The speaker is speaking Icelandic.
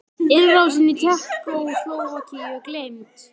Innrásin í Tékkóslóvakíu gleymd?